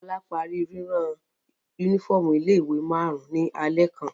Bọ́lá parí rírán únífọ́ọ́mù ilé-ìwé márùn-ún ní alẹ́ kan.